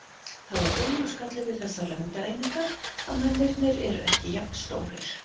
Það er augljós galli við þessar lengdareiningar að mennirnir eru ekki jafn stórir.